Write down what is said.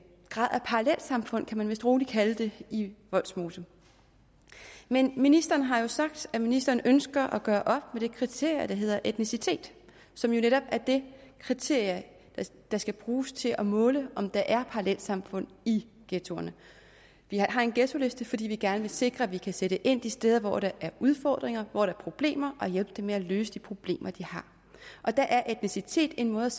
parallelsamfund kan man vist roligt kalde det i vollsmose men ministeren har sagt at ministeren ønsker at gøre op med det kriterium der hedder etnicitet som jo netop er det kriterium der skal bruges til at måle om der er parallelsamfund i ghettoerne vi har en ghettoliste fordi vi gerne vil sikre at vi kan sætte ind de steder hvor der er udfordringer hvor der er problemer og hjælpe dem med at løse de problemer de har der er etnicitet en måde